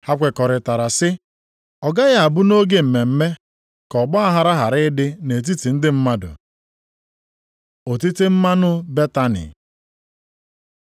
Ha kwekọrịta sị, “Ọ gaghị abụ nʼoge mmemme ka ọgbaaghara hapụ ịdị nʼetiti ndị mmadụ.” Otite mmanụ na Betani